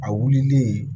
A wulilen